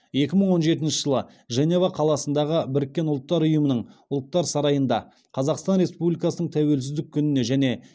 екі мың он жетінші жылы женева қаласындағы біріккен ұлттар ұйымының ұлттар сарайында қазақстан республикасының тәуелсіздік күніне және